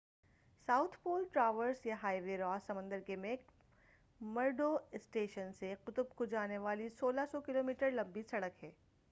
South pole traverse یا highway Ross سمندر کے میک مرڈو اسٹیشن سے قطب کو جانے والی 1600 کلو میٹر لمبی سڑک ہے۔